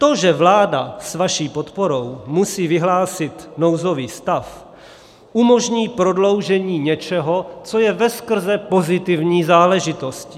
To, že vláda s vaší podporou musí vyhlásit nouzový stav, umožní prodloužení něčeho, co je veskrze pozitivní záležitostí.